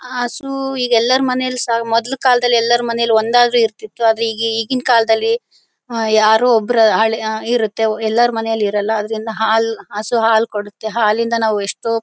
ಹಸು ಈಗ ಎಲ್ಲರ ಮನೇಲಿ ಸ ಮದ್ಲು ಕಾಲದಲ್ಲಿ ಎಲ್ಲರ ಮನೆ ಲು ಒಂದಾದ್ರು ಇರ್ತಿತ್ತು ಆದರೆ ಈಗಿನ ಕಾಲದಲ್ಲಿ ಹ ಯಾರೋ ಒಬ್ರ ಹಳ್ಮ್ ಯಾ ಇರುತ್ತೆ ಎಲ್ಲರ ಮನೇಲೂ ಇರಲ್ಲ ಆದ್ದರಿಂದ ಹಾಲು ಹಸು ಹಾಲು ಕೊಡುತ್ತೆ ಹಾಲಿಂದ ನಾವು ಎಷ್ಟೋ--